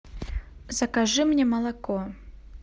закажи мне молоко